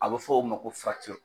A be f'o ma ko